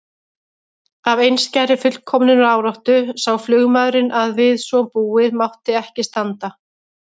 Af einskærri fullkomnunaráráttu sá flugmaðurinn að við svo búið mátti ekki standa.